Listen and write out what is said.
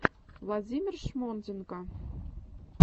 владимир шмонденко